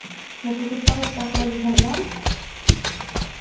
но поступать так ради самозванца